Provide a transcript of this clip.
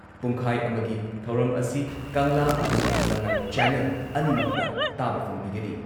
ꯄꯨꯡꯈꯥꯏ ꯑꯃꯒꯤ ꯊꯧꯔꯝ ꯑꯁꯤ ꯀꯪꯂꯥ ꯑꯃꯁꯨꯡ ꯁꯉꯥꯏ ꯆꯦꯅꯦꯜ ꯑꯅꯤꯃꯛꯇ ꯇꯥꯕ ꯐꯪꯕꯤꯒꯅꯤ ꯫